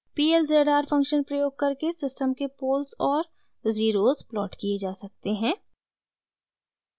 p l z r function प्रयोग करके system के पोल्स और ज़ीरोज़ प्लॉट किये जा सकते हैं